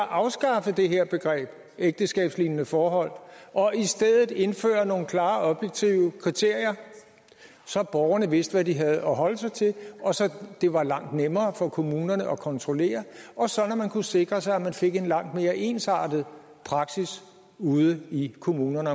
afskaffe det her begreb ægteskabslignende forhold og i stedet indføre nogle klare og objektive kriterier så borgerne vidste hvad de havde at holde sig til og så det var langt nemmere for kommunerne at kontrollere og sådan at man kunne sikre sig at man fik en langt mere ensartet praksis ude i kommunerne